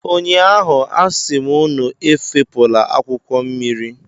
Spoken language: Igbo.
Ụnyaahụ, a sị m unu efopụla akwụkwọ mmiri.